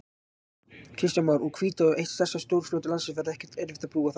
Kristján Már: Úr Hvítá, eitt stærsta stórfljót landsins, verður ekkert erfitt að brúa það?